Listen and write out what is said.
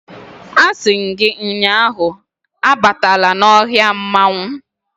A si m gi ụnyahụ, abatala n' ohia mmanwu